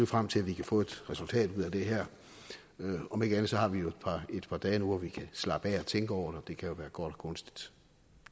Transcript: frem til at vi kan få et resultat ud af det her om ikke andet har vi jo et par dage nu hvor vi kan slappe af og tænke over det kan jo være godt og gunstigt